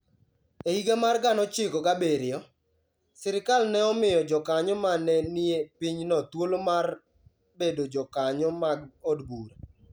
E higa mar 1907, sirkal ne omiyo jokanyo ma ne nie pinyno thuolo mar bedo jokanyo mag od bura.